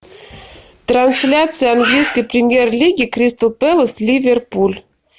трансляция английской премьер лиги кристал пэлас ливерпуль